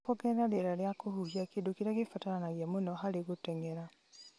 nĩguo kwongerera rĩera rĩa kũhuhia, kĩndũ kĩrĩa kĩbataranagia mũno harĩ gũteng'era.